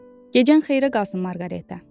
Gecən xeyrə qalsın, Marqareta.